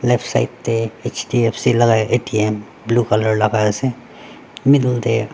Left side tey H_D_F_C laka A_T_M blue colour laka ase middle tey.